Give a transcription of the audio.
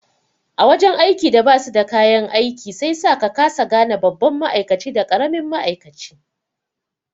A wajan aiki da basu da kayan aiki sai sa ka kasa gane babban ma'aikaci da karimin ma'aikaci